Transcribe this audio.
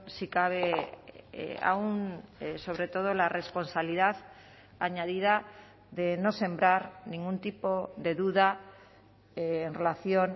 si cabe aún sobre todo la responsabilidad añadida de no sembrar ningún tipo de duda en relación